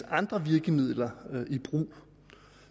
andre virkemidler i brug